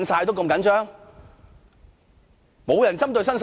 主席，沒有人針對新世界。